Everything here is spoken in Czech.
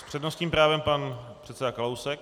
S přednostním právem pan předseda Kalousek.